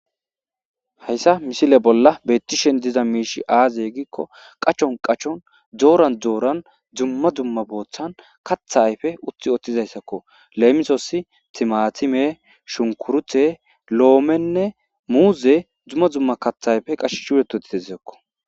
Hayisa misile bolla beettishen diza miishi aazeye gikko qachon qachon dooran dzooran dzumma dzumma bothan katha ayfe uthi othizayssakko leemisoossi timatime shunkurthe loomenne muuze dzumma dzumma kathayfe qash huuretu titezesko